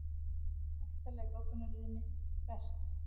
Aftarlega í goggunarröðinni Hvert?